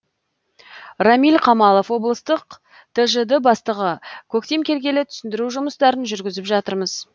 рамиль қамалов облыстық тжд бастығы көктем келгелі түсіндіру жұмыстарын жүргізіп жатырмыз